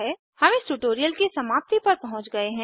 हम इस ट्यूटोरियल की समाप्ति पर पहुँच गए हैं